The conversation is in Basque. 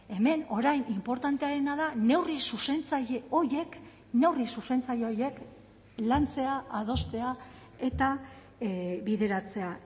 hemen orain inportanteena da neurri zuzentzaile horiek neurri zuzentzaile horiek lantzea adostea eta bideratzea